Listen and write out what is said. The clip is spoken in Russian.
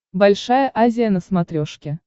большая азия на смотрешке